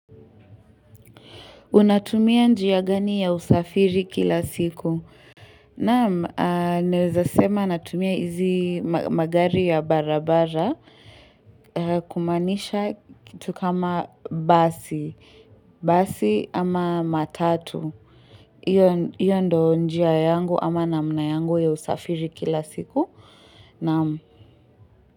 Unatumia njia gani ya usafiri kila siku? Naam, naweza sema natumia hizi magari ya barabara kumaanisha kitu kama basi. Basi ama matatu. hIyo ndio njia yangu ama namna yangu ya usafiri kila siku. Naam.